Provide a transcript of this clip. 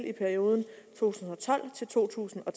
i perioden to tusind og